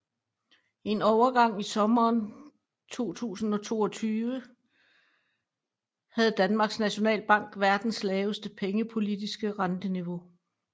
En overgang i sommeren 2022 havde Danmarks Nationalbank verdens laveste pengepolitiske renteniveau